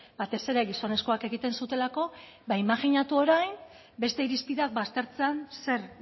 batez ere gizonezkoak egiten zutelako ba imajinatu orain beste irizpideak baztertzean zer